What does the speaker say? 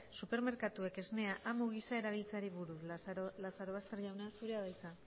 supermerkatuak esnea amu gisa erabiltzeari buruz lazarobaster jauna zurea da hitza